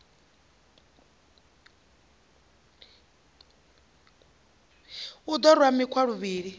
u ḓo rwa makhwa luvhili